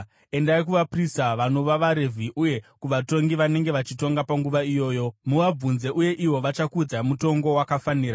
Endai kuvaprista, vanova vaRevhi uye kuvatongi vanenge vachitonga panguva iyoyo. Muvabvunze uye ivo vachakuudzai mutongo wakafanira.